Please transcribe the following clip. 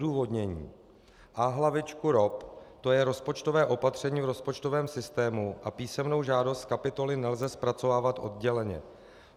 Odůvodnění: A-hlavičku ROP, to je rozpočtové opatření v rozpočtovém systému, a písemnou žádost kapitoly nelze zpracovávat odděleně.